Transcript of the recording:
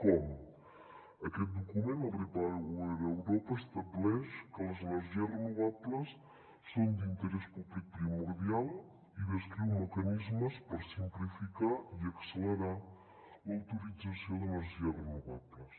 com aquest document el repower europa estableix que les energies renovables són d’interès públic primordial i descriu mecanismes per simplificar i accelerar l’autorització d’energies renovables